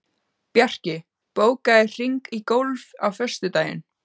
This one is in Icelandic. Bjarki, bókaðu hring í golf á föstudaginn.